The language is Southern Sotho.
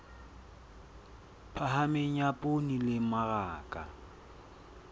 phahameng ya poone le mmaraka